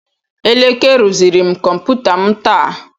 Eleke rụziri m kọmputa m taa.